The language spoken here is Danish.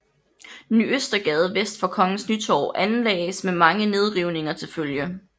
Ny Østergade vest for Kongens Nytorv anlagdes med mange nedrivninger til følge